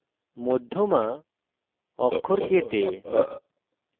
মধ্যমা অক্ষর k তে